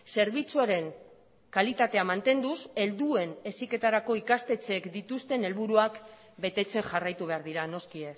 zerbitzuaren kalitatea mantenduz helduen heziketarako ikastetxeek dituzten helburuak betetzen jarraitu behar dira noski